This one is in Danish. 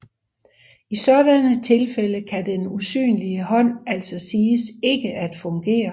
I sådanne tilfælde kan den usynlige hånd altså siges ikke at fungere